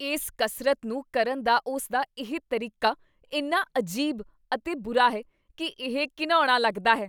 ਇਸ ਕਸਰਤ ਨੂੰ ਕਰਨ ਦਾ ਉਸਦਾ ਇਹ ਤਰੀਕਾ ਇੰਨਾ ਅਜੀਬ ਅਤੇ ਬੁਰਾ ਹੈ ਕੀ ਇਹ ਘਿਣਾਉਣਾ ਲੱਗਦਾ ਹੈ।